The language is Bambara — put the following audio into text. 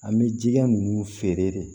An bɛ jija ninnu feere de